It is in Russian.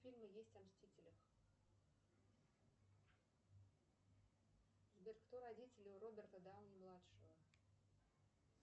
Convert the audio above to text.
фильмы есть о мстителях сбер кто родители у роберта дауни младшего